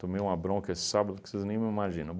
Tomei uma bronca esse sábado que vocês nem me imaginam.